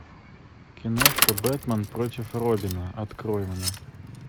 киношка бэтмен против робина открой мне